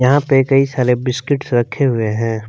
यहां पे कई सारे बिस्किट्स रखे हुए हैं।